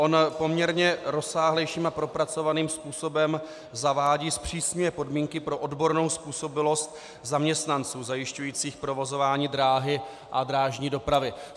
On poměrně rozsáhlejším a propracovaným způsobem zavádí zpřísněné podmínky pro odbornou způsobilost zaměstnanců zajišťujících provozování dráhy a drážní dopravy.